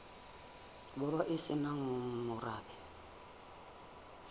borwa e se nang morabe